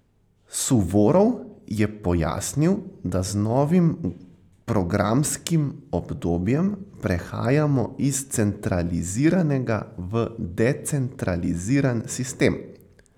Suvorov je pojasnil, da z novim programskim obdobjem prehajamo iz centraliziranega v decentraliziran sistem.